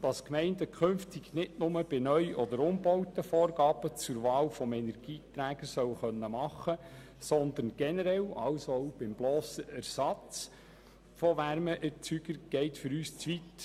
Dass die Gemeinden künftig nicht nur bei Neu- oder Umbauten Vorgaben zur Wahl des Energieträgers machen können sollen, sondern generell, also auch beim blossen Ersatz von Wärmeerzeugern, geht uns zu weit.